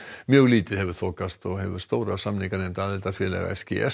mjög lítið hefur þokast og hefur stóra samninganefnd aðildarfélaga s g s